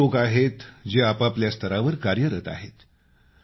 असे अनेक लोक आहेत जे आपआपल्या स्तरावर कार्यरत आहेत